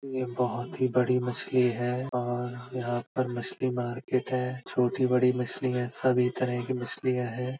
यह बोहोत (बहुत) ही बड़ी मछली हैऔर यहां पर मछली मार्केट है। छोटी-बड़ी मछलियाँ सभी तरह की मछलियाँ है।